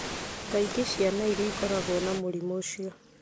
Kaingĩ ciana iria ikoragwo na mũrimũ ũcio